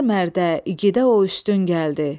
Hər mərdə, igidə o üstün gəldi.